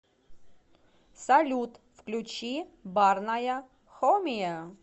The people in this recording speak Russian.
салют включи барная хомия